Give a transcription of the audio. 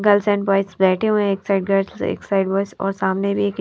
girls and boys बैठे हुए है एक साइड गर्ल्स और एक साइड बॉयज और सामने भी एक --